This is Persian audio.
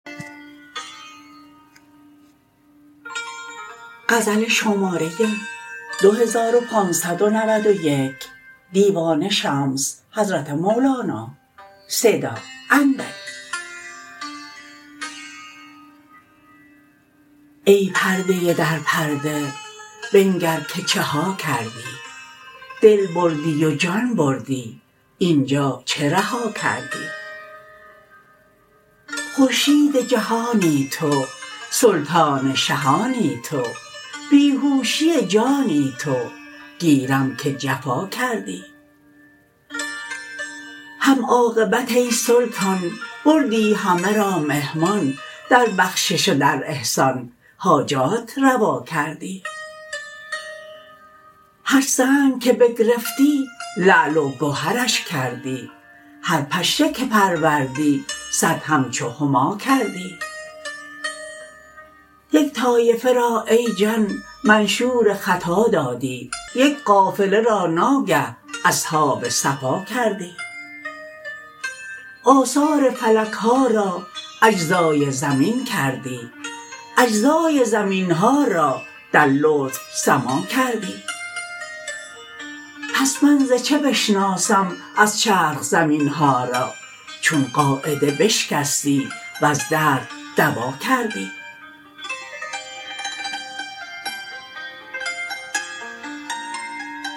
ای پرده در پرده بنگر که چه ها کردی دل بردی و جان بردی این جا چه رها کردی خورشید جهانی تو سلطان شهانی تو بی هوشی جانی تو گیرم که جفا کردی هم عاقبت ای سلطان بردی همه را مهمان در بخشش و در احسان حاجات روا کردی هر سنگ که بگرفتی لعل و گهرش کردی هر پشه که پروردی صد همچو هما کردی یک طایفه را ای جان منشور خطا دادی یک قافله را ناگه اصحاب صفا کردی آثار فلک ها را اجزای زمین کردی اجزای زمین ها را در لطف سما کردی پس من ز چه بشناسم از چرخ زمین ها را چون قاعده بشکستی وز درد دوا کردی